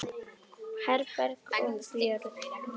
Herborg og Björn.